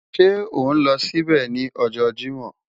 Ṣe o n lọ sibẹ ni ọjọ Jimọ?